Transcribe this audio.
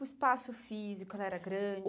O espaço físico era grande?